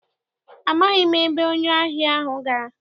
Amaghị m ebe onye ahịa ahụ gara.